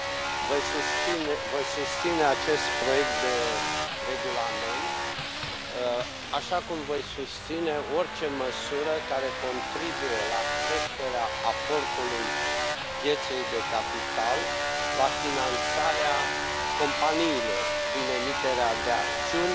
Domnule președinte, voi susține acest proiect de regulament, așa cum voi susține orice măsură care contribuie la creșterea aportului pieței de capital, la finanțarea companiilor prin emiterea de acțiuni